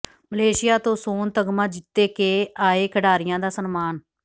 Malaysia ਤੋਂ ਸੋਨ ਤਗ਼ਮਾ ਜਿੱਤੇ ਕੇ ਆਏ ਖਿਡਾਰੀਆਂ ਦਾ ਸਨਮਾਨ